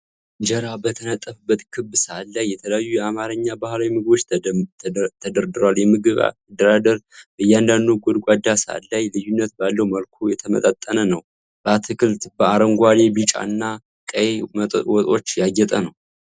እንጀራ በተነጠፈበት ክብ ሳህን ላይ የተለያዩ የአማርኛ ባህላዊ ምግቦች ተደርድረዋል። የምግቡ አደራደር በእያንዳንዱ ጎድጓዳ ሳህን ላይ ልዩነት ባለው መልኩ የተመጣጠነ ነው። በአትክልት፣ በአረንጓዴ፣ ቢጫ እና ቀይ ወጦች ያጌጠ ነው።